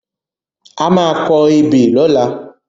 A má a kọ ebè lọ́la.